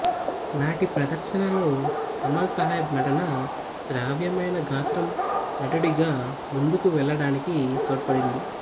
నాటి ప్రదర్శనలో కమాల్ సాహెబ్ నటన శ్రావ్యమైన గాత్రం నటుడిగా ముందుగా వెళ్ళడానికి తోడ్పడింది